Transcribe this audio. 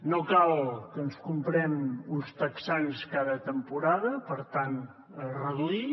no cal que ens comprem uns texans cada temporada per tant reduir